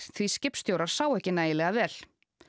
því skipstjórar sáu ekki nægilega vel